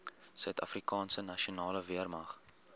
suidafrikaanse nasionale weermag